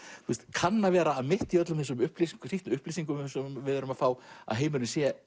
kann að vera að mitt í öllum þessum upplýsingum upplýsingum sem við erum að fá að heimurinn sé